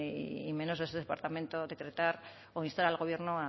y menos desde el departamento decretar o instar al gobierno